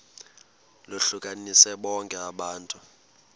lohlukanise bonke abantu